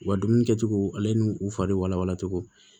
U ka dumuni kɛcogo ale n'u fari walawalacogo